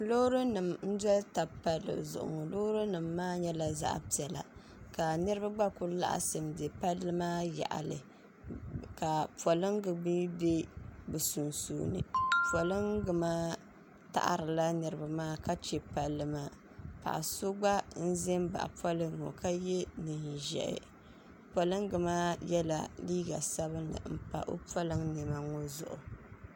Loori nim n dɔli taba palli zuɣu ŋɔ loori nim maa nyɛla zaɣa piɛla ka niriba gba ku laɣisi n bɛ palli maa yaɣali ka polinga mi bɛ bi sunsuuni polinga maa taɣiri la niriba maa ka che palli maa paɣa so gba n ʒɛ baɣa polinga ŋɔ ka yɛ niɛn ʒiɛhi polinga maa yɛla liiga sabinli n pa o polin niɛma maa zuɣu.